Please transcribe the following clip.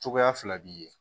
Cogoya fila b'i ye